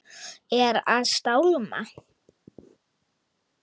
Er að stálma.